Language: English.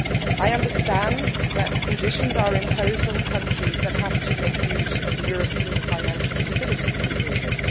I understand that conditions are imposed on countries that have to make use of the European Financial Stability Mechanism.